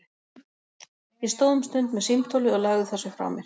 Ég stóð um stund með símtólið og lagði það svo frá mér.